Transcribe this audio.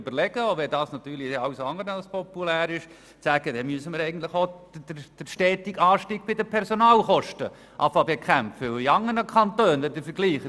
Eigentlich müssten wir sonst irgendwann doch wieder den stetigen Anstieg der Personalkosten zu bekämpfen beginnen, selbst wenn dies zu sagen gar nicht populär ist.